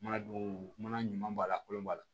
Mana don mana ɲuman b'a la kolon b'a la